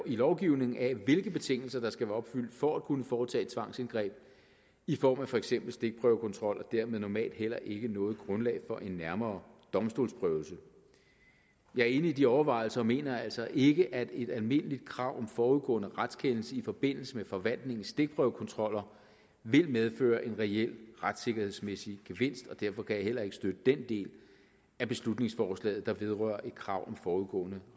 lovgivningen af hvilke betingelser der skal være opfyldt for at kunne foretage tvangsindgreb i form af for eksempel stikprøvekontrol og dermed normalt heller ikke noget grundlag for en nærmere domstolsprøvelse jeg er enig i de overvejelser og mener altså ikke at et almindeligt krav om forudgående retskendelse i forbindelse med forvaltningens stikprøvekontroller vil medføre en reel retssikkerhedsmæssig gevinst og derfor kan jeg heller ikke støtte den del af beslutningsforslaget der vedrører et krav om forudgående